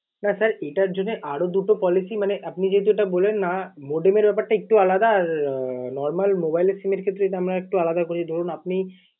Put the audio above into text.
না sir এটার জন্য আরও দুটো policy মানে আপনি যেহেতু এটা বললেন না modem এর ব্যাপারটা একটু আলাদা, আর normal mobile এর SIM এর ক্ষেত্রে এটা আমরা একটু আলাদা করি। ধরুন আপনি